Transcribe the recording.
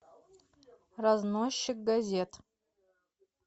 разносчик газет